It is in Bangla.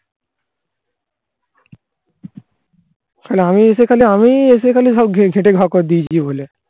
আর আমি এসে খালি আমিই এসে খালি সব খেটে খপর দিয়েছি বলে